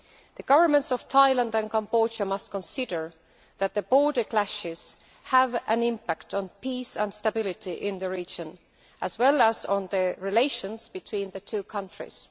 The Governments of Thailand and Cambodia must consider that the border clashes have an impact on peace and stability in the region as well as on relations between the two countries.